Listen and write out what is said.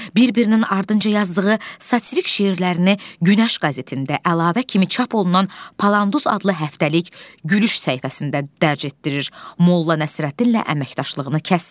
Bir-birinin ardınca yazdığı satirik şeirlərini Günəş qəzetində əlavə kimi çap olunan Palanduz adlı həftəlik gülüş səhifəsində dərc etdirir, Molla Nəsrəddinlə əməkdaşlığını kəsmir.